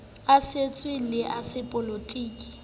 a setso le a sepolotiki